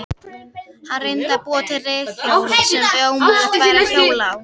Hann reyndi að búa til reiðhjól sem ómögulegt væri að hjóla á.